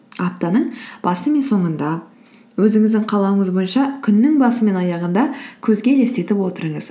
аптаның басы мен соңында өзіңіздің қалауыңыз бойынша күннің басы мен аяғында көзге елестетіп отырыңыз